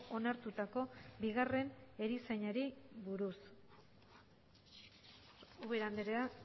onartutako bigarren erizainari buruz ubera andrea